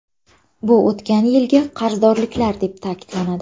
Bu o‘tgan yilgi qarzdorliklar deb ta’kidlanadi.